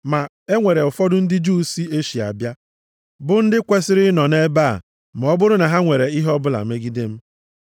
Ma enwere ụfọdụ ndị Juu si Eshịa bịa, bụ ndị kwesiri ịnọ nʼebe a ma ọ bụrụ na ha nwere ihe ọbụla megide m.